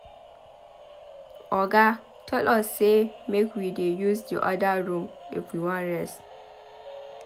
Oga tell us say make we dey use the other room if we wan rest.